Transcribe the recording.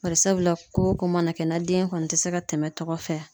Barisabula ko o ko mana kɛ na den kɔni tɛ se ka tɛmɛ tɔgɔ fɛ